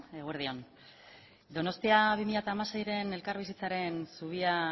eguerdi on donostia bi mila hamaseiren elkarbizitzaren zubia